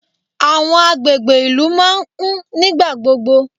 Àwọn agbègbè ìlú máa ń kún nígbà gbogbo.